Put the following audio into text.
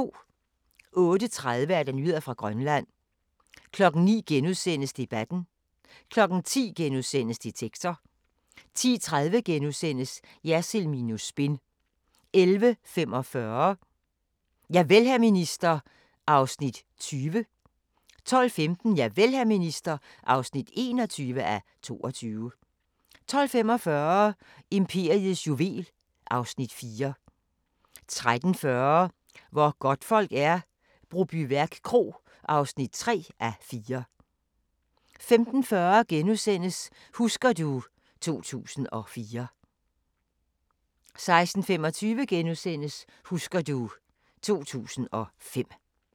08:30: Nyheder fra Grønland 09:00: Debatten * 10:00: Detektor * 10:30: Jersild minus spin * 11:45: Javel, hr. minister (20:22) 12:15: Javel, hr. minister (21:22) 12:45: Imperiets juvel (Afs. 4) 13:40: Hvor godtfolk er - Brobyværk Kro (3:4) 15:40: Husker du ... 2004 * 16:25: Husker du ... 2005 *